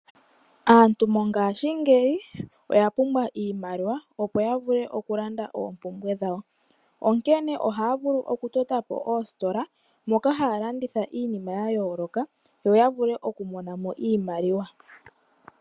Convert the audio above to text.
Aantu wongashingeyi oya pumbwa iimaliwa opo ya vule okulanda oompumbwe dhawo onkene ohaya vulu okutota po oositola moka haya landitha iinima ya yooloka yo ya vule okumona mo iimaliwa.